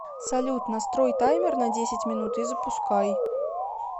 салют настрой таймер на десять минут и запускай